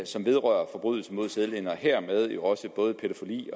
som vedrører forbrydelser mod sædeligheden og hermed jo også både pædofili